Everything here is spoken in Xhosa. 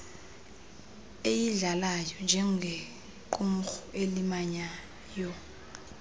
eyidlalayo njengequmrhu elimanyayo